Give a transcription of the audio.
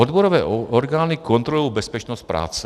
Odborové orgány kontrolují bezpečnost práce.